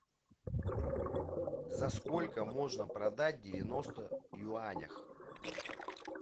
за сколько можно продать девяносто юанях